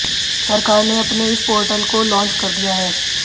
सरकार ने अपने इस पोर्टल को लांच कर दिया है